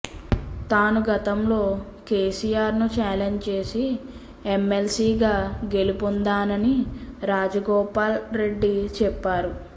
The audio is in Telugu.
తాను గతంలో కేసీఆర్ను ఛాలెంజ్ చేసి ఎమ్మెల్సీగా గెలుపొందానని రాజగోపాల్ రెడ్డి చెప్పారు